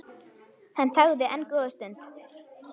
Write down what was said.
Hann þagði enn góða stund.